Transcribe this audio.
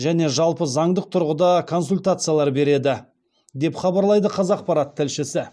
және жалпы заңдық тұрғыда консультациялар береді деп хабарлайды қазақпарат тілшісі